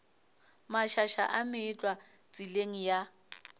mašaša a meetlwa tseleng ya